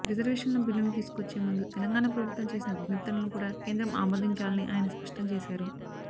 రిజర్వేషన్ల బిల్లును తీసుకొచ్చే ముందు తెలంగాణ ప్రభుత్వం చేసిన విజ్ఞప్తులను కూడా కేంద్రం ఆమోదించాలని ఆయన స్పష్టం చేశారు